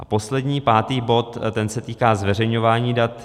A poslední, pátý bod, ten se týká zveřejňování dat.